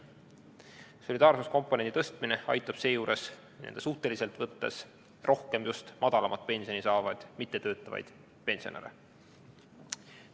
Solidaarsuskomponendi tõstmine aitab suhteliselt võttes rohkem just madalamat pensioni saavaid mittetöötavaid pensionäre.